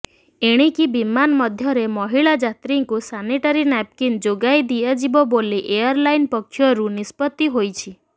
ଏଣିକି ବିମାନ ମଧ୍ୟରେ ମହିଳା ଯାତ୍ରୀଙ୍କୁ ସାନିଟାରି ନାପ୍କିନ୍ ଯୋଗାଇ ଦିଆଯିବ ବୋଲି ଏୟାର୍ଲାଇନ୍ ପକ୍ଷରୁ ନିଷ୍ପତ୍ତି ହୋଇଛି